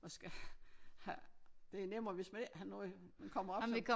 Og skal have det er nemmere hvis man ikke har noget men kommer op som